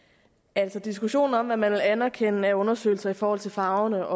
altså diskussionen om hvorvidt man vil anerkende af undersøgelser i forhold til farverne